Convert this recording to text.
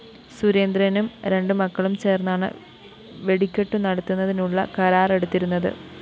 സുരേന്ദ്രനും രണ്ടു മക്കളും ചേര്‍ന്നാണ് വെടിക്കെട്ടു നടത്തുന്നതിനുള്ള കരാറെടുത്തിരുന്നത്